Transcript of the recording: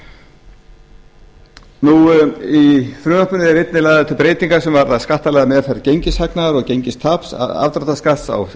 í frumvarpinu eru einnig lagðar til breytingar sem varða skattalega meðferð gengishagnaðar og gengistaps afdráttarskatt á